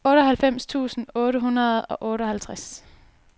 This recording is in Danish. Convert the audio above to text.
otteoghalvfems tusind otte hundrede og otteoghalvtreds